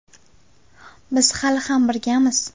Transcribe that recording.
Biz hali ham birgamiz.